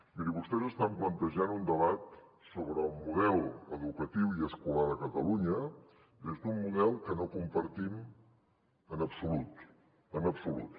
miri vostès estan plantejant un debat sobre el model educatiu i escolar a catalunya des d’un model que no compartim en absolut en absolut